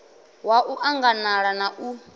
wa u anganala na u